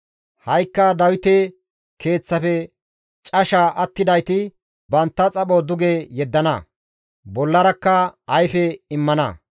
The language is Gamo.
Ha7ikka Dawite keeththafe casha attidayti bantta xapho duge yeddana; bollarakka ayfe immana.